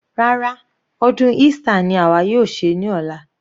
Rárá, ọdún Easter ni àwa yóò ṣe ní ọ̀la.